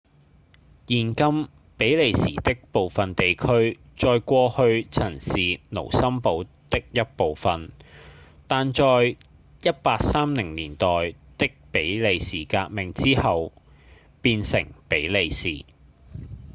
現今比利時的部分地區在過去曾是盧森堡的一部分但在1830年代的比利時革命之後變成比利時